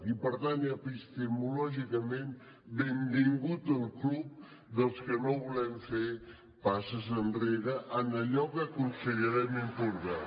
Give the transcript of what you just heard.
i per tant epistemològicament benvingut al club dels que no volem fer passes enrere en allò que considerem important